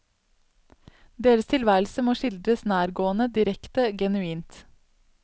Deres tilværelse må skildres nærgående, direkte, genuint.